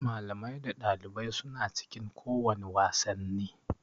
Malamai da ɗalibai suna cikin kowane wasanni